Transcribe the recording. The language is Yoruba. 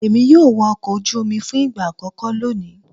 Èmi yóò wọ ọkọ̀ ojú omi fún ìgbà àkókó lónìí.